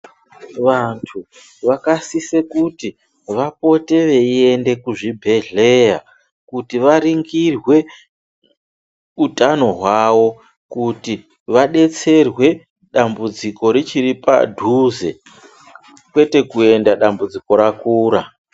Vanhu vakasisa kuti vapote veiyenda kuzvibhodhleya kuti varingirwe hutano hwavo kuti vadetserwe dambudziko richiripadhuze kwete kuenda dzambudziko rakura